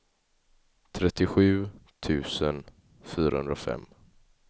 trettiosju tusen fyrahundrafem